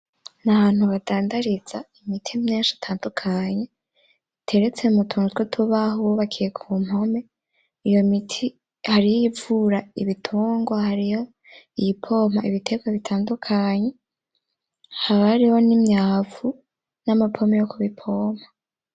N'ahantu badandariza imiti myinshi itandukanye biteretse mutuntu tw'utubaho twubakiye kumpome iyo miti hariho iyivura ibitungwa hariyo iyipompa ibiterwa bitandukanye haba hariho nimyavu n’amapome yo kubipoma.